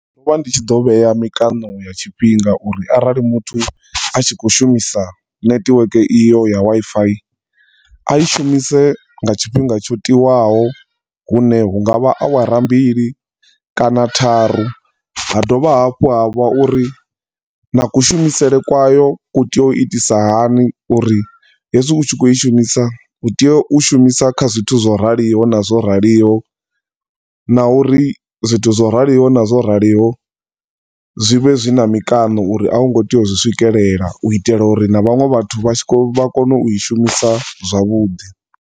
Ndo do vha ndi tshi ḓo tshi vhea mikano ya tshifhinga uri arali muthu a tshi khou shumisa network iyo ya Wi-Fi a i shumise nga tshinga tsho tiwaho hune hunga vha awara mbili kana tharu. Ha dovha hafhu ha vha uri na ku shumisele kwa yo ku tea u itisa hani uri hezwi u tshi khou i shumisa utea u i shumisa kha zwithu zwo rali o na zwo rali o, na uri zwithu zwo rali o na zwo rali o zwivhe zwina mikano uri a u ngo tea u zwi swikelela uri na vhanwe vhathu vha tshi, vha kone u i shumisa zwavhuḓi.